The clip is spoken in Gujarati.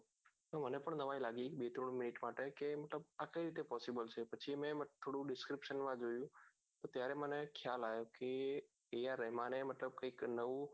તો મને પણ નવાઈ લાગી બે ત્રણ minute માટે કેમઆ કઈ રીતે possible છે પછી એને થોડું description માં જોયું ત્યારે મને ખ્યાલ આયો કે અહિયાં રહેમાને મતલબ કઈંક નવું